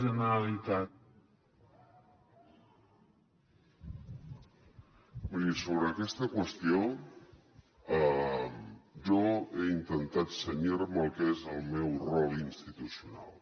miri sobre aquesta qüestió jo he intentat cenyir me al que és el meu rol institucional